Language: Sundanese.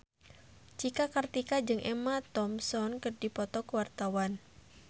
Cika Kartika jeung Emma Thompson keur dipoto ku wartawan